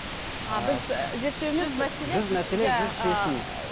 ыыы біз зерттеу емес